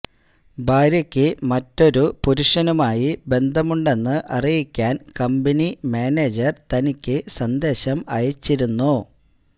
ഭാര്യയ്ക്ക് മറ്റൊരു പുരുഷനുമായി ബന്ധമുണ്ടെന്ന് അറിയിക്കാൻ കമ്പനി മാനേജർ തനിക്ക് സന്ദേശം അയച്ചിരുന്നു